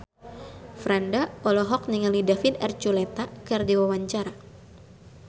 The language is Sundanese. Franda olohok ningali David Archuletta keur diwawancara